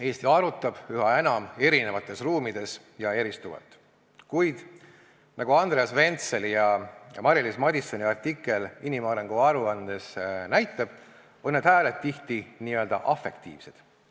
Eesti arutab üha enam erinevates ruumides ja eristuvalt, kuid nagu Andreas Ventseli ja Mari-Liis Madissoni artikkel inimarengu aruandes näitab, on need hääled tihti n-ö afektiivsed.